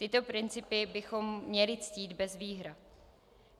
Tyto principy bychom měli ctít bez výhrad.